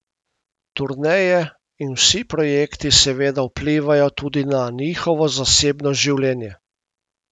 Turneje in vsi projekti seveda vplivajo tudi na njihovo zasebno življenje.